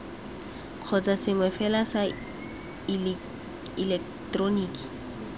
kgotsa sengwe fela sa ileketeroniki